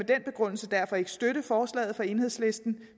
den begrundelse derfor ikke støtte forslaget fra enhedslisten